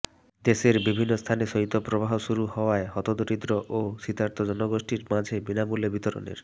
দেশের বিভিন্ন স্থানে শৈত্যপ্রবাহ শুরু হওয়ায় হতদরিদ্র ও শীতার্ত জনগোষ্ঠীর মাঝে বিনামূল্যে বিতরণের